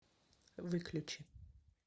выключи